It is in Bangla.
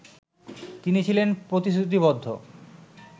তিনি ছিলেন প্রতিশ্রুতিবদ্ধ